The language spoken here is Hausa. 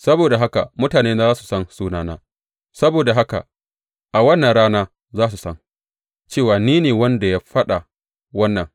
Saboda haka mutanena za su san sunana; saboda haka a wannan rana za su san cewa ni ne wanda ya faɗa wannan.